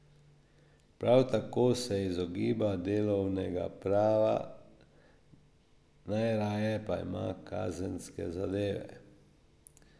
Prav tako se izogiba delovnega prava, najraje pa ima kazenske zadeve.